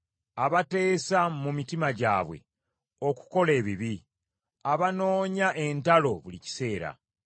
abateesa mu mitima gyabwe okukola ebibi; abanoonya entalo buli kiseera.